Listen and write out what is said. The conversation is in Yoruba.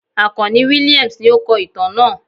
Akanni Williams ní o kó ìtàn náà